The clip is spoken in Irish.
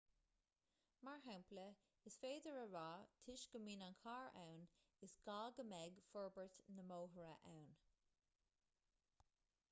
mar shampla is féidir a rá toisc go mbíonn an carr ann is gá go mbeidh forbairt na mbóithre ann